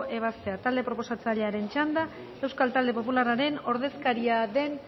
ebazpena talde proposatzailearen txanda euskal talde popularraren ordezkaria den